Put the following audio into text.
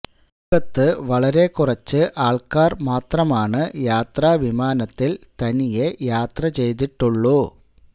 ലോകത്ത് വളരെ കുറച്ച് ആള്ക്കാര് മാത്രമാണ് യാത്രാ വിമാനത്തില് തനിയെ യാത്ര ചെയ്തിട്ടുള്ളൂ